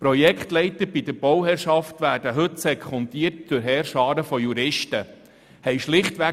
Die Projektleiter der Bauherrschaft werden heute durch Heerscharen von Juristen sekundiert.